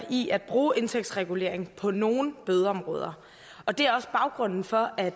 i at bruge indtægtsregulering på nogle bødeområder og det er også baggrunden for at